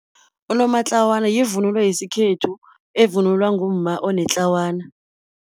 Unomatlawana yivunulo yesikhethu, evunulwa ngumma onetlawana.